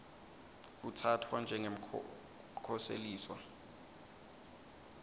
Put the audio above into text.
kutsatfwa njengemkhoseliswa